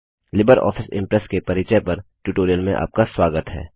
Libre Office Impress के परिचय पर ट्यूटोरियल में आपका स्वागत है